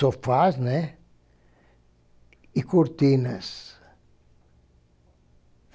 sofás, né, e cortinas.